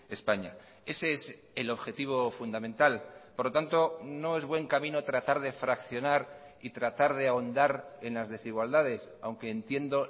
españa ese es el objetivo fundamental por lo tanto no es buen camino tratar de fraccionar y tratar de ahondar en las desigualdades aunque entiendo